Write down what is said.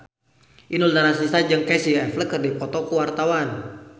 Inul Daratista jeung Casey Affleck keur dipoto ku wartawan